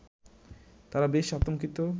তারা বেশ আতঙ্কিত